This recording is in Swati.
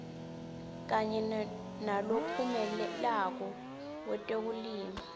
kanye nalophumelelako wetekulima